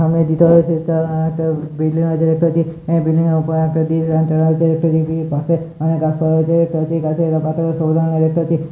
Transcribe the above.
সামনে রয়েছে এটা একটা বিল্ডিং আছে দেখতে পাচ্ছি আহ বিল্ডিংয়ের উপরে একটা আছে একটা পাশে অনেক গাছপালা রয়েছে দেখতে পাচ্ছি গাছের পাতা সবুজ রঙের দেখতে পাচ্ছি।